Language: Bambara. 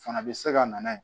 Fana bɛ se ka na yen